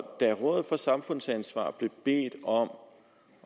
og da rådet for samfundsansvar blev bedt om